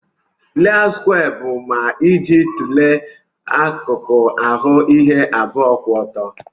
layout skwee bu ma iji tule akuku aru ihe abụọ kwụ ọtọ.